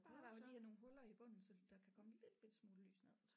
Bare der lige er nogle huller i bunden så der kan komme en lillebitte smule lys ned